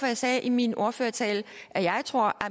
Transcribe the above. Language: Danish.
jeg sagde i min ordførertale at jeg tror at